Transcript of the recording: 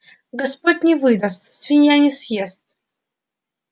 господь не выдаст свинья не съест